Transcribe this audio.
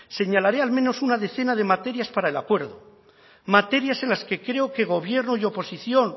señalaré al menos una decena de materias para el acuerdo materias en las que creo que gobierno y oposición